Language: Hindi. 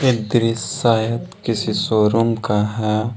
दृश्य शायद किसी शोरूम का है।